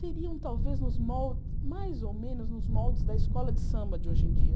Seriam, talvez, os moldes mais ou menos nos moldes da escola de samba de hoje em dia.